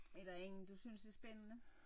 Er der ingen du synes er spændende?